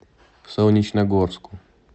солнечногорску